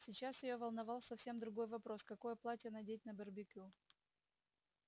сейчас её волновал совсем другой вопрос какое платье надеть на барбекю